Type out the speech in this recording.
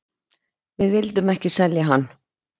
Við vildum ekki selja hann.